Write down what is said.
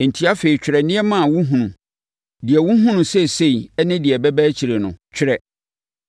“Enti afei twerɛ nneɛma a wohunu; deɛ wohunu no seesei ne deɛ ɛbɛba akyire no, twerɛ.